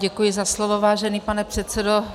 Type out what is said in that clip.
Děkuji za slovo, vážený pane předsedo.